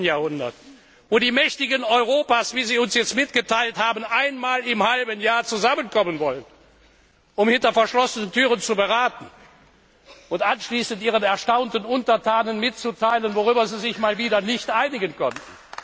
19. Jahrhundert, wo die Mächtigen Europas, wie sie uns jetzt mitgeteilt haben, einmal im Halbjahr zusammenkommen wollen, um hinter verschlossenen Türen zu beraten und anschließend ihren erstaunten Untertanen mitzuteilen, worüber sie sich mal wieder nicht einigen konnten.